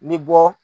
Ni bɔ